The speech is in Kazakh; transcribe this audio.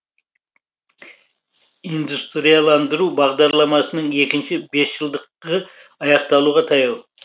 индустрияландыру бағдарламасының екінші бесжылдығы аяқталуға таяу